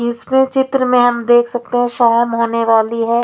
इसमें चित्र में हम देख सकते हैं शाम होने वाली है।